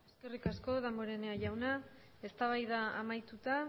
eskerrik asko damborenea jauna eztabaida amaituta